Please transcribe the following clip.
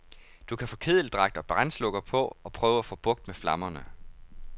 Du kan få kedeldragt og brandslukker på og prøve at få bugt med flammerne.